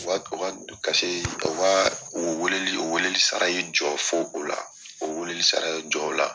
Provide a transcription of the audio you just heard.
U ka u ka u ka o weleli o weleli sara ye jɔ fo o la o wele sara ye jɔ o la.